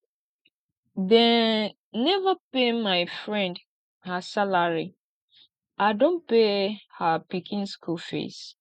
dem neva pay my friend her salary i don pay her pikin skool fees